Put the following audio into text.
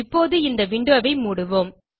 இப்போது இந்த விண்டோ ஐ மூடுவோம்